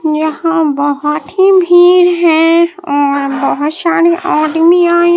यहां बहोत ही भीड़ है और बहोत सारे आदमी आए--